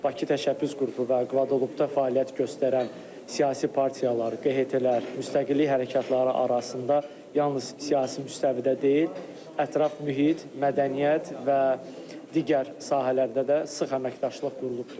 Bakı təşəbbüs qrupu və Kvadelupda fəaliyyət göstərən siyasi partiyalar, QHT-lər, müstəqillik hərəkatları arasında yalnız siyasi müstəvidə deyil, ətraf mühit, mədəniyyət və digər sahələrdə də sıx əməkdaşlıq qurulub.